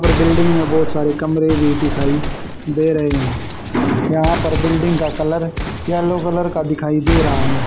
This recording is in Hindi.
और बिल्डिंग में बहोत सारे कमरे भी दिखाई दे रहे हैं यहां पर बिल्डिंग का कलर येलो कलर का दिखाई दे रहा है।